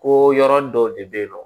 Ko yɔrɔ dɔw de bɛ yen nɔ